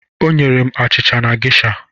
O nyere m achịcha na geisha.